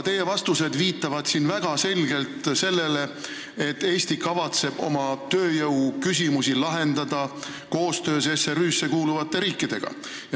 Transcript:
Teie vastused viitavad siin väga selgelt sellele, et Eesti kavatseb oma tööjõuküsimusi lahendada koostöös SRÜ-sse kuuluvate riikidega.